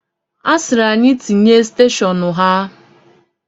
A sịrị anyị tinye steshọnu ha.